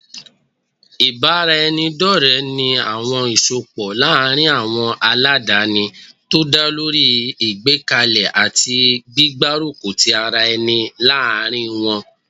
Ìbáraẹnidọ́ọ̀rẹ́ ní àwọn ìsọpọ̀ láàrin àwọn ọlọ́danni tó dálórí ìgbékalẹ̀ àti gbígbárùkù tí ara ẹni láàárín wọ́n